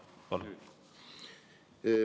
Palun!